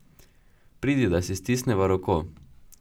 Pridi, da si stisneva roko!